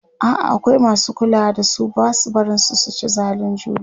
a'a akwai masu kulawa da su Basu barin su ci zalin juna